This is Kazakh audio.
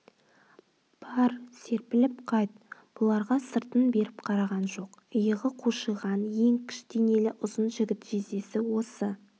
бар серпіліп қайт бұларға сыртын беріп қараған жоқ иығы қушиған еңкіш денелі ұзын жігіт жездесі осы